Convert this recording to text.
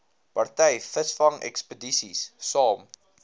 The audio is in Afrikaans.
party visvangekspedisies saam